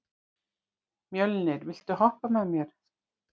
Mjölnir, viltu hoppa með mér?